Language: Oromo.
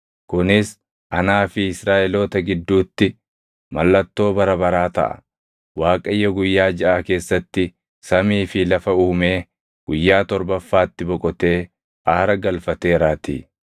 Kunis anaa fi Israaʼeloota gidduutti mallattoo bara baraa taʼa; Waaqayyo guyyaa jaʼa keessatti samii fi lafa uumee guyyaa torbaffaatti boqotee aara galfateeraatii.’ ”